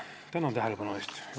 Tänan tähelepanu eest!